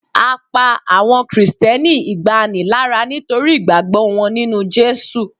a pa awọn Kristẹni igbani lara nitori ìgbàgbọ wọn ninu Jesu